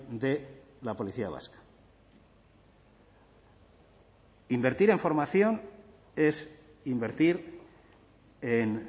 de la policía vasca invertir en formación es invertir en